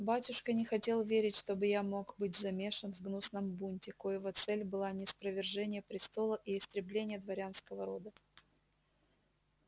батюшка не хотел верить чтобы я мог быть замешан в гнусном бунте коего цель была ниспровержение престола и истребление дворянского рода